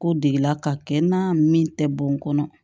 Ko degela ka kɛ na min tɛ bɔn kɔnɔ